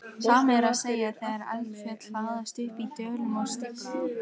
Sama er að segja þegar eldfjöll hlaðast upp í dölum og stífla þá.